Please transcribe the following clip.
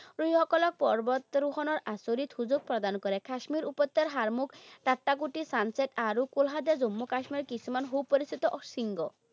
যিসকলক পৰ্বত আৰোহণৰ আচৰিত সুযোগ প্ৰদান কৰে। কাশ্মীৰ উপত্যকাৰ sunset আৰু জম্মু কাশ্মীৰৰ কিছুমান সু পৰিচিত শৃংগ।